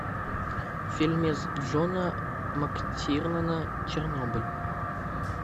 фильмец джона мактирнана чернобыль